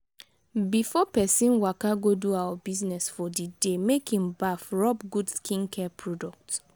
before person waka go do our business for di day make in baff rubb good skincare product